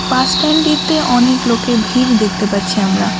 বাসস্ট্যান্ডটিতে অনেক লোকের ভিড় দেখতে পাচ্ছি আমরা।